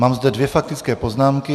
Mám zde dvě faktické poznámky.